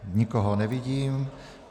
Nikoho nevidím.